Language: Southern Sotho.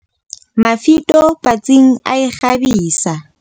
Mafito patsing a a e kgabisa.